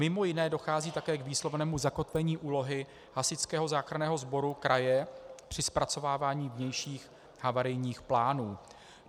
Mimo jiné dochází také k výslovnému zakotvení úlohy hasičského záchranného sboru kraje při zpracovávání vnějších havarijních plánů.